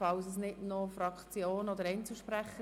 Gibt es hier Fraktionen, die sich noch äussern möchten?